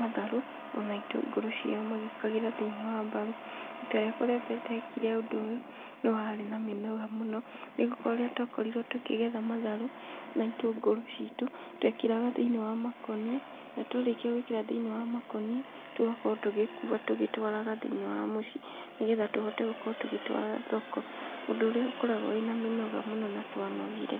matharũ, ona itũngũrũ ciao magĩkagĩra thĩiniĩ wa mbaru, rita rĩakwa rĩa mbere ndekire ũndũ ũyũ, nĩ warĩ na mĩnoga mũno, nĩgũkora nĩtwakorirwo tũkĩgetha matharũ na itũngũrũ citũ , twekĩraga thĩiniĩ wa makũnia na twarĩkia gwĩkĩra thĩiniĩ wa makũnia , tũgakorwo tũgĩkua tũgĩtwaraga thĩiniĩ wa mũciĩ, nĩgetha tũhote gũkorwo tũgĩtwara thoko, ũndũ ũrĩa ũkoragwo wĩna mĩnoga mũno na twanogire.